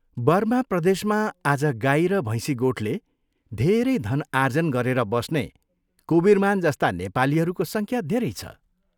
Burma प्रदेशमा आज गाई र भैंसी गोठले धेरै धन आर्जन गरेर बस्ने कुवीरमान जस्ता नेपालीहरूको संख्या धेरै छ।